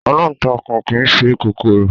Aláǹtakùn kìí ṣe kòkòrò